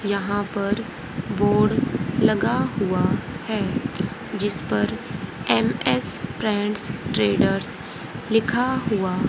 यहां पर बोर्ड लगा हुआ है जिसपर एम_एस प्रेंट्स ट्रेडर्स लिखा हुआ--